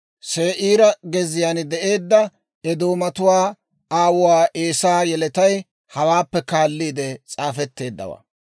Se'iira gezziyaan de'eedda Eedoomatuwaa aawuwaa Eesaa yeletay hawaappe kaalliide s'aafetteeddawaa.